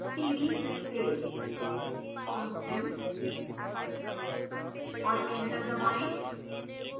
type करें cd space constant और enter दबाएं